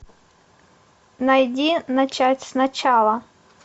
найди начать сначала